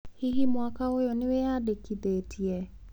Hihi mwaka ũyũ nĩ wĩyandĩkithĩtie?